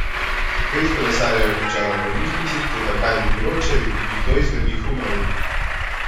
Pet kolesarjev je končalo v bolnišnici, toda, kaj bi bilo, če bi kdo izmed njih umrl?